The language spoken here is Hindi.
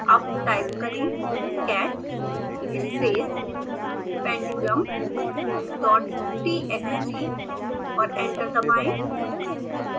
अब टाइप करें catspacependulumdottxt और एंटर दबाएं